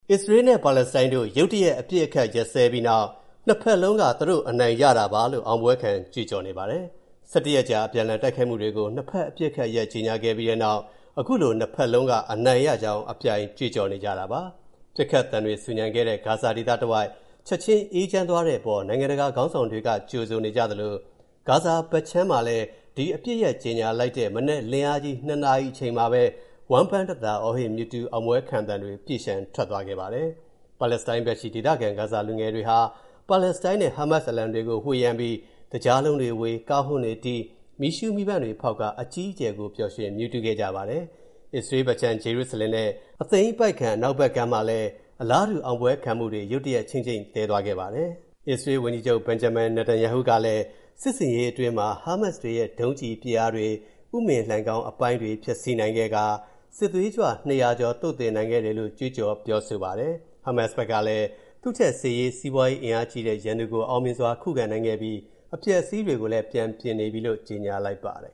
အစ္စရေးလ်နဲ့ ပါလက်စတိုင်းတို့ ရုတ်တရက် အပစ်အခတ် ရပ်စဲပြီးနောက် နှစ်ဖက်စလုံးက သူတို့အနိုင်ရတာပါလို့ အောင်ပွဲခံ ကြွေးကြော်နေပါတယ်။ ၁၁ ရက်ကြာ အပြန်အလှန် တိုက်ခိုက်မှုတွေကို နှစ်ဖက် အပစ်အခတ်ရပ် ကြေညာခဲ့ပြီးနောက် အခုလို နှစ်ဖက်လုံးက အနိုင်ရကြောင်း အပြိုင်ကြွေးကြော်နေကြတာပါ။ ပစ်ခတ်သံတွေ ဆူညံခဲ့တဲ့ ဂါဇာဒေသတဝိုက် ချက်ချင်း အေးချမ်းသွားတဲ့အပေါ် နိုင်ငံတကာ ခေါင်းဆောင်တွေက ကြိုဆိုနေကြသလို ဂါဇာကမ်းခြေမှာလည်း ဒီအပစ်ရပ်ကြေညာလိုက်တဲ့ မနက်လင်းအားကြီး ၂ နာရီအချိန်မှာပဲ ဝမ်းပန်းတသာ အော်ဟစ်မြူးထူး အောင်ပွဲခံသံတွေ ပြည့်လျှံထွက်သွားခဲ့ပါတယ်။ ပါလက်စတိုင်းဘက်ရှိ ဒေသခံ ဂါဇာနေ လူငယ်တွေဟာ ပါလက်စတိုင်းနဲ့ ဟားမတ်စ် အလံတွေကို ဝှေ့ယမ်းပြီး သကြားလုံးတွေဝေ၊ ကားဟွန်းတွေတီး၊ မီးရှူးမီးပန်းတွေဖောက်ကာ အကြီးအကျယ်ကို ပျော်ရွှင်မြူးထူးခဲ့ကြပါတယ်။ အစ္စရေးလ်ဘက်ခြမ်း အရှေ့ဂျေရုစလင်နဲ့ အသိမ်းပိုက်ခံ အနောက်ဘက်ကမ်းမှာလည်း အလားတူ အောင်ပွဲခံမှုတွေ ရုတ်တရက် ခြိမ့်ခြိမ့်သဲသွားခဲ့ပါတယ်။ အစ္စရေးလ်ဝန်ကြီးချုပ် Benjamin Netanyahu က စစ်ဆင်ရေးအတွင်း ဟားမတ်စ်တွေရဲ့ ဒုံးကျည်ပစ်အားတွေ၊ ဥမင်လိုဏ်ခေါင်းအပိုင်းတွေ ဖျက်ဆီးနိုင်ခဲ့ကာ စစ်သွေးကြွ ၂၀၀ ကျော် သုတ်သင်နိုင်ခဲ့တယ်လို့ ကြွေးကြော် ပြောဆိုပါတယ်။ ဟားမတ်စ်ဘက်ကလည်း သူ့ထက် စစ်ရေး၊ စီးပွားရေး အားကြီးတဲ့ ရန်သူကို အောင်မြင်စွာ ခုခံနိုင်ခဲ့ပြီး အပျက်အစီးတွေကိုလည်း ပြန်ပြင်နေပြီလို့ ကြေညာလိုက်ပါတယ်